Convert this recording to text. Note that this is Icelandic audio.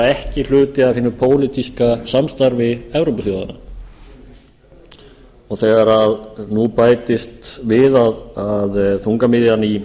ekki hluti af hinu pólitíska samstarfi evrópuþjóðanna þegar nú bætist við að þungamiðjan í